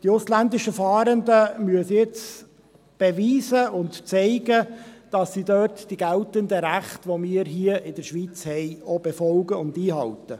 Die ausländischen Fahrenden müssen jetzt beweisen und zeigen, dass sie dort die geltenden Rechte, die wir hier in der Schweiz haben, auch befolgen und einhalten.